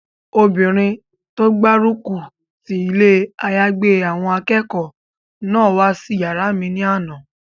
Obìnrin tó gbárùkù ti ilé àyágbé àwọn akẹ́kọ̀ọ́ náà wá sí yàrá mi ní àná